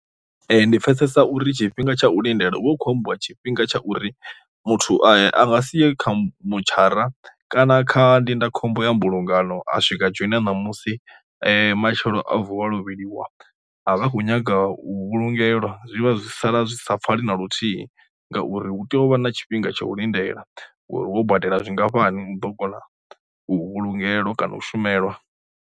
Ndi pfesesa uri tshifhinga tsha u lindela uvha u kho ambiwa tshifhinga tsha uri muthu a nga si ye kha mutshara kana kha ndindakhombo ya mbulungano a swika dzhoina ṋamusi matshelo a vuwa lovheliwa a vha a khou nyaga u vhulungela, zwi vha zwi sala zwi sa pfale na luthihi ngauri hu tea u vha na tshifhinga tsha u lindela uri ho badela zwingafhani u ḓo kona vhulungela kana u shumelwa.